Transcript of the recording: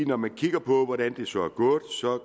når man kigger på hvordan det så er gået